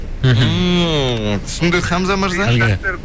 мхм ммм түсіндік хамза мырза